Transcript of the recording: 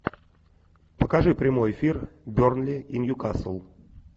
покажи прямой эфир бернли и ньюкасл